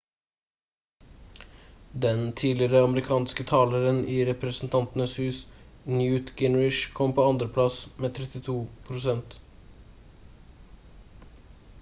den tidligere amerikanske taleren i representantenes hus newt gingrich kom på andreplass med 32 prosent